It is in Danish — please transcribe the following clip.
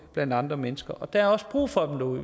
blandt andre mennesker der er også brug for dem derude